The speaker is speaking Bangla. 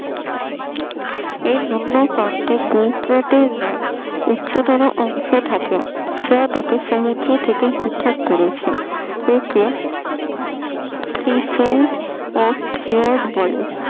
এর নিম্ন প্রান্তে উচ্চতর অংশ থাকে, সেটা তাকে সমুদ্র থেকে পৃথক করেছে একে ক্ষীয়ত বলে